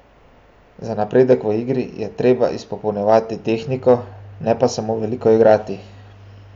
Za napredek v igri je treba izpopolnjevati tehniko, ne pa samo veliko igrati!